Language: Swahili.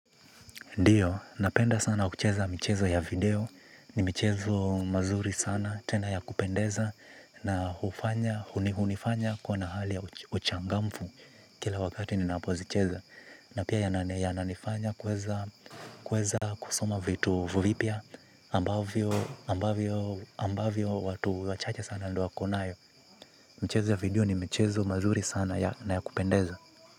Ndiyo napenda sana kucheza mchezo ya video ni mchezo mazuri sana tena ya kupendeza na hunifanya kuwa na hali ya uchangamfu kila wakati ninapozicheza na pia yananifanya kuweza kusoma vitu vipya ambavyo ambavyo ambavyo watu wachache sana ndo wako nayo. Mchezo ya video ni michezo mazuri sana ya kupendeza.